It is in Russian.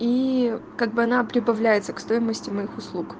и как бы она прибавляется к стоимости моих услуг